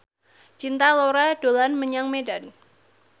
Cinta Laura dolan menyang Medan